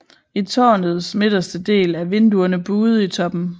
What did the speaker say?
I tårnets midterste del er vinduerne buede i toppen